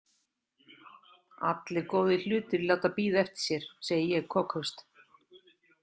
Allir góðir hlutir láta bíða eftir sér, segi ég kokhraust.